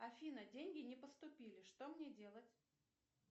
афина деньги не поступили что мне делать